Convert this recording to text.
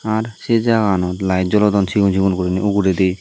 r sey jaganot light jolodon sigon sigon guriney uguredi.